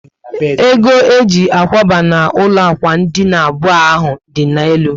Ego eji akwaba n'ụlọ ákwà dina abụọ ahụ dị na elu